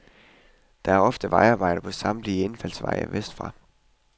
Der er ofte vejarbejde på samtlige indfaldsveje vest fra.